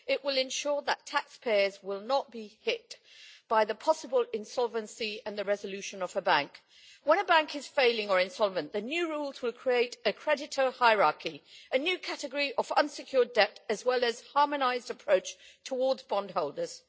It will ensure that taxpayers will not be hit by the possible insolvency and the resolution of a bank. When a bank is failing or insolvent, the new rules will create a creditor hierarchy, a new category of unsecured debt, as well as a harmonised approach towards bondholders.